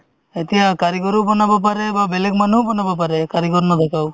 এতিয়া কাৰিকৰেও বনাব পাৰে বা বেলেগ মানুহেও বনাব পাৰে কাৰিকৰ নোহোৱাকেও